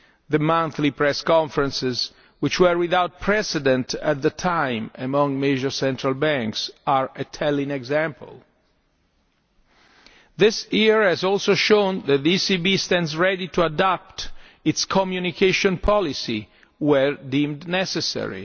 The monthly press conferences, which were without precedent at the time among major central banks, are a telling example. This year has also shown that the ECB stands ready to adapt its communication policy, where deemed necessary.